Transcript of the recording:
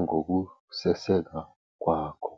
ngokuseseka kwakho.